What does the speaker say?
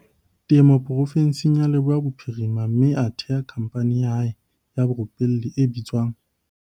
Temo porofenseng ya Leboya Bophirima mme a theha khamphani ya hae ya borupelli e bitswang.